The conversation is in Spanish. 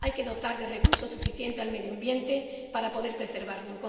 Hay que dotar de recursos suficientes al medio ambiente para poder preservarlo.